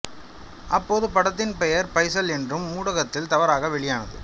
அப்போது படத்தின் பெயர் பைசல் என்று ஊடகங்களில் தவறாக வெளியானது